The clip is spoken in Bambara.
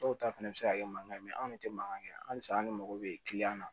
Dɔw ta fɛnɛ be se ka kɛ mankan ye anw de tɛ mankan kɛ halisa anw de mago bɛ kiliyan na